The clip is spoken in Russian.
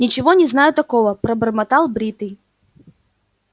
ничего не знаю такого пробормотал бритый